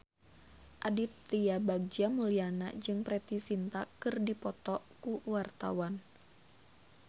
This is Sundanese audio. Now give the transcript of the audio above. Aditya Bagja Mulyana jeung Preity Zinta keur dipoto ku wartawan